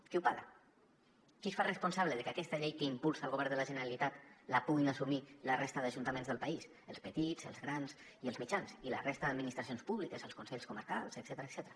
qui ho paga qui es fa responsable de que aquesta llei que impulsa el govern de la generalitat la puguin assumir la resta d’ajuntaments del país els petits els grans i els mitjans i la resta d’administracions públiques els consells comarcals etcètera